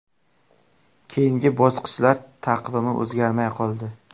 Keyingi bosqichlar taqvimi o‘zgarmay qoldi.